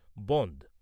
বনধ